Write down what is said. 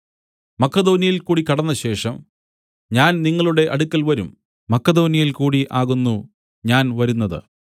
മക്കെദോന്യയിൽകൂടി കടന്നശേഷം ഞാൻ നിങ്ങളുടെ അടുക്കൽ വരും മക്കെദോന്യയിൽകൂടി ആകുന്നു ഞാൻ വരുന്നത്